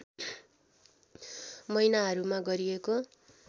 महिनाहरूमा गरिएको